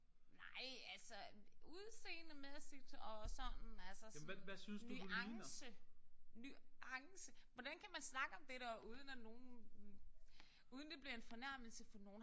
Nej altså udseendemæssigt og sådan altså sådan nuance nuance. Hvordan kan man snakke om det der uden at nogen uden det bliver en fornærmelse for nogen